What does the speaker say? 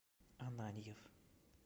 ананьев